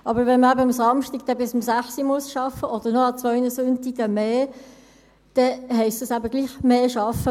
Aber wenn man dann eben am Samstag bis 18 Uhr arbeiten muss oder an zwei Sonntagen mehr, dann heisst dies eben: doch mehr arbeiten.